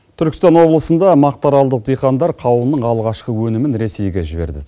түркістан облысында мақтааралдық диқандар қауынның алғашқы өнімін ресейге жіберді